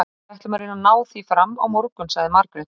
Við ætlum að reyna að ná því fram á morgun, sagði Margrét.